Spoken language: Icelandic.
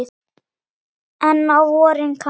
En á vorin kann